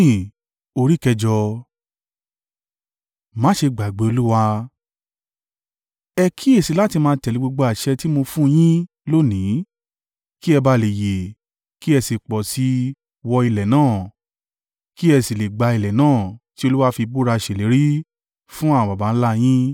Ẹ kíyèsi i láti máa tẹ̀lé gbogbo àṣẹ tí mo fún un yín lónìí, kí ẹ bá à le yè, kí ẹ sì pọ̀ sí i wọ ilẹ̀ náà, kí ẹ sì le gba ilẹ̀ náà, tí Olúwa fì búra ṣèlérí fún àwọn baba ńlá a yín.